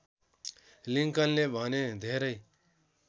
लिंकनले भने धेरै